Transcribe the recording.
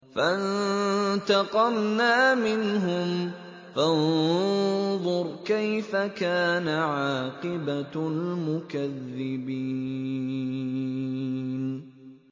فَانتَقَمْنَا مِنْهُمْ ۖ فَانظُرْ كَيْفَ كَانَ عَاقِبَةُ الْمُكَذِّبِينَ